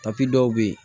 dɔw bɛ yen